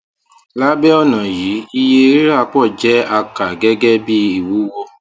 labẹ ọna yìí iye rira pọ jẹ a ka gẹgẹ bí iwuwo